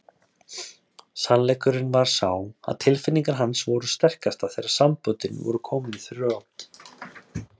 Sannleikurinn var sá að tilfinningar hans voru sterkastar þegar samböndin voru komin í þrot.